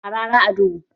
Harara a duhu